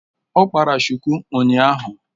Ọ kpara shuku ụnyahụ